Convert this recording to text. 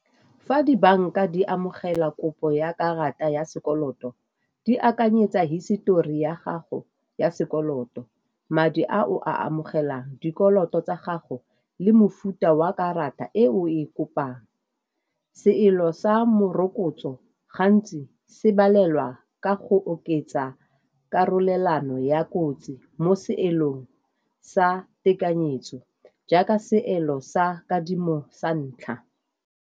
Fa dibanka di amogela kopo ya karata ya sekoloto di akanyetsa histori ya gago ya sekoloto madi, a o a amogelang, dikoloto tsa gago le mofuta wa karata e o e kopang. Seelo sa morokotso gantsi se balelwa ka go oketsa karolelolano ya kotsi mo seelong sa tekanyetso jaaka seelo sa kadimo sa ntlha.